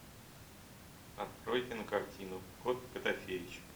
открой кинокартину кот котофеич